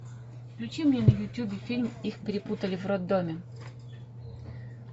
включи мне на ютубе фильм их перепутали в роддоме